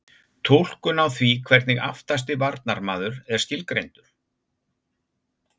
Túlkun á því hvernig aftasti varnarmaður er skilgreindur?